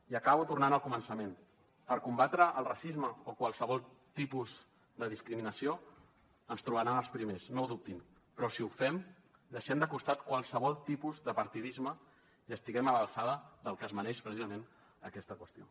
i acabo tornant al començament per combatre el racisme o qualsevol tipus de discriminació ens hi trobaran els primers no ho dubtin però si ho fem deixem de costat qualsevol tipus de partidisme i estiguem a l’alçada del que es mereix precisament aquesta qüestió